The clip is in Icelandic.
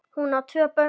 Hún á tvö börn.